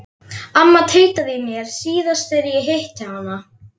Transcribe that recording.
Amma tautaði í mér síðast þegar ég hitti hana.